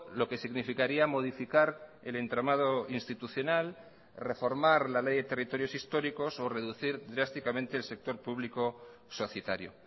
lo que significaría modificar el entramado institucional reformar la ley de territorios históricos o reducir drásticamente el sector público societario